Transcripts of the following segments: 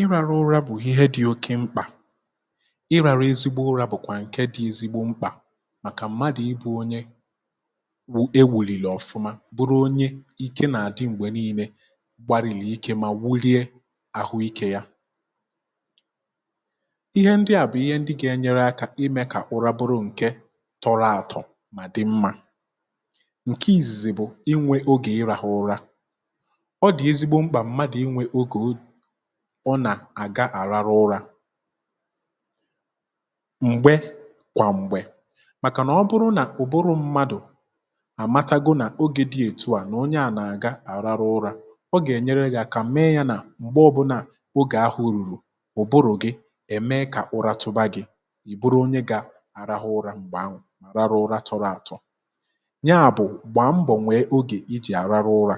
ị rȧrụ ụrȧ bụ̀ ihe dị̇ oke mkpà: ị rȧrụ ezigbo ụrȧ bụ̀kwà nke dị̇ ezigbo mkpà màkà m̀madụ̀ ibụ̇ onye e wùlìlì ọ̀fụma, bụrụ onye ike nà-àdị m̀gbè niilė, gbarìli ike mà wulie àhụikė ya. Ihe ndị à bụ̀ ihe ndị gà-enyere akȧ imė kà ụra bụrụ̇ nkè tọrọ àtọ̀ mà dị mmȧ. Nkè ìzìzì bụ,̀ inwė ogè ịrȧhụ̇ ụra; ọ di ezigbo mkpa mmadụ inwė ogè ọ ọ nà àga-àraru ụrȧ m̀gbe kwà m̀gbè. Màkà nà ọ bụrụ nà ụ̀bụrụ mmadù àmatago nà ogè dị ètu à nà onye à nà-àga araru ụrȧ, ọ gà-ènyere gị̇ àkà mee ya nà m̀gbe ọ̇bụ̇nà ogè ahụ̇ rùrù, ụ̀bụrụ̀ gị ème kà ụra tụba gị̇, ìbụrụ onye gà-àrahụ ụra m̀gbè ahụ,̀ raru ụra tọrọ àtọ. Ya bụ,̀ gbàa mbọ̀nwee ogè i jì àraru ụra,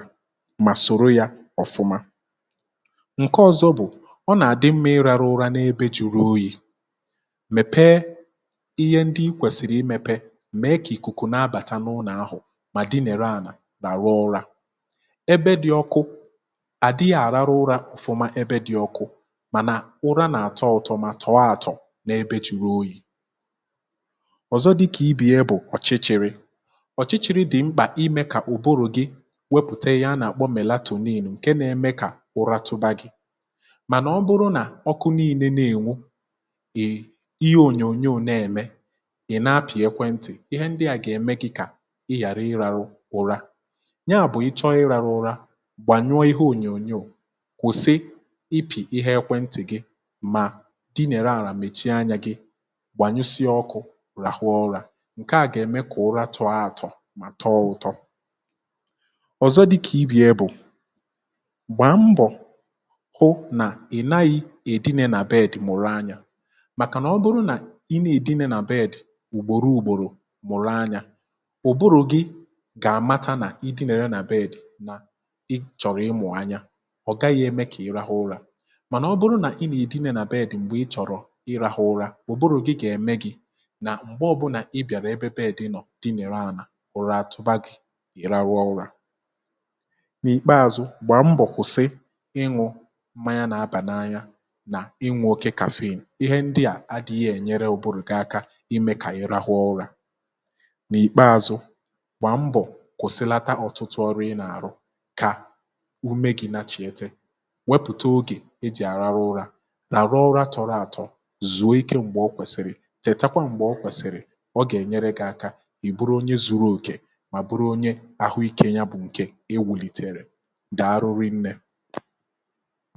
ma soro yà ofuma. Nkè ọ̀zọ bụ,̀ ọ nà-àdị mma írȧrụ urȧ n’ebe juru oyi̇. Mmèpe ihe ndị ikwèsìrì imėpe, m̀mèe kà ìkùkù nà-abàta n'ulo ahụ mà dị nere àlà nàrụ ụrȧ. Ebe dị̇ ọkụ; àdịghị àràrụ ụrȧ ọ̀fụma ebe dị̇ ọkụ̇, mànà ụra nà-àtọ utọ ma tọ̀ọ àtọ̀ n’ebe juru oyi̇. ọ̀zọ dịkà i be ya bụ,̀ ọ̀chịchị̇rị; ọ̀chịchị̇rị dị̀ mkpà imė kà ụ̀bụrụ̇ gị wepùte ya a nà-àkpọ Mèlatòn ilu̇ n kè nà-emè kà ụra tuba gị, mànà ọ bụrụ nà ọkụ nille na-ènwu, ị ihe ònyònyo n’ème, ị̀ nà-apị̀ ekwentị,̀ ihe ndị à gà-ème gị̇ kà ị ghàra ịrȧrụ ura. Ya bụ,̀ ị chọ i rȧrụ ụra, gbànyụọ ihe ònyònyo, kwụ̀sị ipì ihe ekwentị̀ gị, mà dinere àlà mèchie anyȧ gị, gbànyụsịa ọkụ̇, ràhụ urȧ. Nkè à gà-ème kà ụra tọọ àtọ mà tọọ ụtọ. ọ̀zọ dịkà ibe yà bụ, gba mbo ̀ hụ nà inaghị̇ èdìnye nà bed mụ̀rụ anyȧ màkà nà ọ bụrụ nà inė èdìnye nà bed ùgbòro ùgbòrò mụ̀rụ anyȧ, ụ̀bụrụ̇ gị gà-àmata nà ịdìnere nà bed nà ị chọ̀rọ̀ ịmụ̀ anya, ọ̀ gaghị̇ eme kà ị rahụ ụrȧ. Mànà ọ bụrụ nà inė èdìnye nà bed m̀gbè ị chọ̀rọ̀ ị rahụ ụra, ụ̀bụrụ̇ gị gà-ème gị̇ nà m̀gbe ọbụnà ị bịàrà ebe bèdì nọ̀ dịnere àlà, ụ̀rȧ tupu agị̇, ị ra rụọ ụrȧ. N’ìkpeȧzụ̇, gbà mbọ̀ kwụ̀sị iṅụ mmanya nà abà n'anya nà ịnwu oke kàfin. Ihe ndịà adị̇ghị̇ ènyere ùburu gị aka imė kà ị rahụ ụra. Nà ìkpeàzụ, gbà mbọ̀ kwụsịlata ọtụtụ ọrụ ị nà-àrụ kà ume gị̇ na chìete. Wepụ̀ta ogè ị jị̀ àrarụ ụra, làrụ ura tọrọ àtọ, zùo ike m̀gbè ọ kwèsị̀rị,̀ tètakwa m̀gbè ọ kwèsị̀rị,̀ ọ gà-ènyere gị aka ì bụrụ onye zuru òkè mà bụrụ onye ahụ ikė ya bụ̀ ǹkè e wùlitere. Dàarụụ nnė!